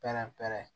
Pɛrɛn pɛrɛn